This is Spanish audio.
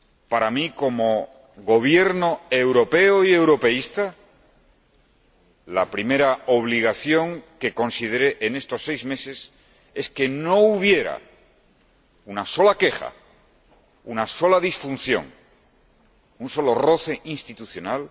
Para mí, como Gobierno europeo y europeísta, la primera obligación que consideré en estos seis meses es que no hubiera una sola queja, una sola disfunción, un solo roce institucional